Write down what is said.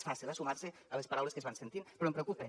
és fàcil eh sumar se a les paraules que es van sentint però em preocupa